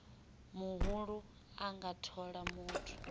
muhulu a nga thola muthu